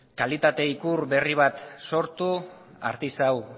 kalitate ikur berri bat sortu artisau